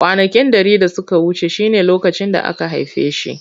Kwanaki dari da suka wuce shine lokacin da aka haife shi.